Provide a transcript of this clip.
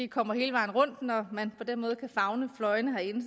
kommer hele vejen rundt når man på den måde kan favne fløjene herinde